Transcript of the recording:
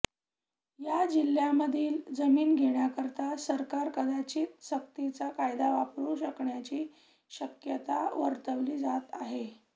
या जिल्ह्यामधील जमीन घेण्याकरिता सरकार कदाचित सक्तीचा कायदा वापरू शकण्याची शक्यता वर्तविली जात आहे